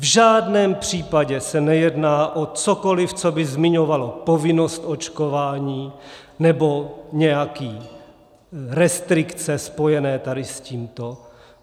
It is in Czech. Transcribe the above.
V žádném případě se nejedná o cokoliv, co by zmiňovalo povinnost očkování nebo nějaké restrikce spojené tady s tímto.